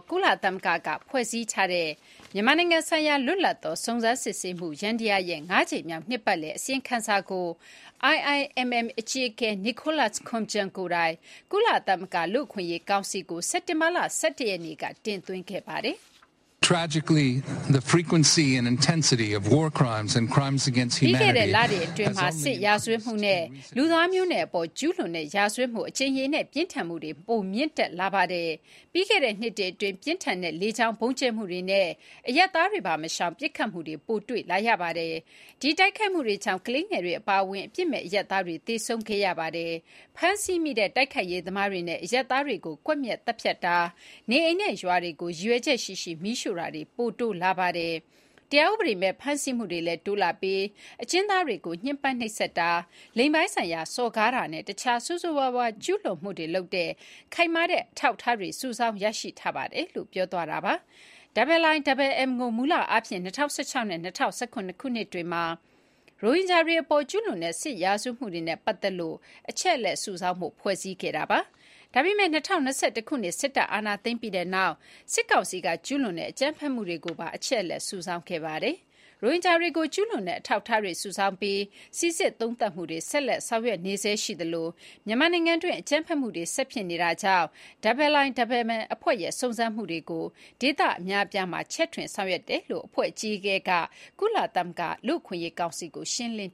ကုလသမဂ္ဂကဖွဲ့စည်းထားတဲ့ မြန်မာနိုင်ငံဆိုင်ရာလွတ်လပ်သောစုံစမ်းစစ်ဆေးမှုယန္တရားရဲ့ ငါးကြိမ်မြောက်နှစ်ပတ်လည်အစီရင်ခံစာကို IIMM အကြီးအကဲ Nicholas Koumjian ကိုယ်တိုင် ကုလသမဂ္ဂ လူ့အခွင့်အရေးကောင်စီကို စက်တင်ဘာ ၁၁ ရက်နေ့က တင်သွင်းခဲ့ပါတယ်။ “ပြီးခဲ့တဲ့လတွေအတွင်းမှာ စစ်ရာဇဝတ်မှုနဲ့ လူသားမျိုးနွယ်အပေါ်ကျူးလွန်တဲ့ရာဇဝတ်မှု အကြိမ်ရေနဲ့ပြင်းထန်မှုတွေ ပိုမြင့်တက်လာပါတယ်။ ပြီးခဲ့တဲ့နှစ်တွေအတွင်း ပြင်းထန်တဲ့လေကြောင်းဗုံးကြဲမှုတွေနဲ့ အရပ်သားတွေပါမရှောင် ပစ်ခတ်မှုတွေ ပိုတွေ့လာရပါတယ်။ ဒီတိုက်ခိုက်မှုတွေကြောင့် ကလေးငယ်တွေအပါအဝင် အပြစ်မဲ့အရပ်သားတွေ သေဆုံးခဲ့ရပါတယ်။ ဖမ်းဆီးမိတဲ့တိုက်ခိုက်ရေးသမားတွေနဲ့ အရပ်သားတွေကို ကွပ်မျက်သတ်ဖြတ်တာ၊ နေအိမ်နဲ့ရွာတွေကို ရည်ရွယ်ချက်ရှိရှိ မီးရှိုာတာတွေ ပိုတိုးလာပါတယ်။ တရားဥပဒေမဲ့ဖမ်းဆီးမှုတွေလည်း တိုးလာပြီး အကျဉ်းသားတွေကို ညှင်းပမ်းနှိပ်စက်တာ၊ လိင်ပိုင်းဆိုင်ရာစော်ကားတာနဲ့ အခြားဆိုးဆိုးဝါးဝါးကျူးလွန်မှုတွေလုပ်တဲ့ ခိုင်မာတဲ့အထောက်အထားတွေ စုဆောင်းရရှိထားပါတယ်” IIMM ကို မူလအားဖြင့် ၂၀၁၆ နဲ့ ၂၀၁၇ ခုနှစ်တွေမှာ ရိုဟင်ဂျာတွေအပေါ် ကျူးလွန်တဲ့ စစ်ရာဇတ်ဝတ်မှုတွေနဲ့ပတ်သက်လို့ အချက်အလက်စုဆောင်းဖို့ ဖွဲ့စည်းခဲ့တာပါ။ ဒါပေမယ့် ၂၀၂၁ ခုနှစ် စစ်တပ်က အာဏာသိမ်းပြီးတဲ့နောက် စစ်ကောင်စီက ကျူးလွန်တဲ့ အကြမ်းဖက်မှုတွေကိုပါ အချက်အလက်စုဆောင်းခဲ့ပါတယ်။ ရိုဟင်ဂျာတွေကို ကျူးလွန်တဲ့အထောက်အထားတွေစုဆောင်းပြီး စီစစ် သုံးသပ်မှုတွေ ဆက်လက်ဆောင်ရွက်နေသလို မြန်မာနိုင်ငံတွင်း အကြမ်းဖက်မှုတွေ ဆက်ဖြစ်နေတာကြောင့် IIM အဖွဲ့ရဲ့ စုံစမ်းမှုတွေကို ဒေသအများအပြားမှာ ချဲ့ထွင်ဆောင်ရွက်ခဲ့တယ်လို့ IIMM အကြီးအကဲက ကုလသမဂ္ဂလူ့အခွင့်အရေးကောင်စီကို ရှင်းလင်